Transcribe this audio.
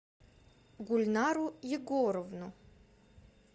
гульнару егоровну